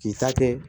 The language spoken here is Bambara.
K'i ta kɛ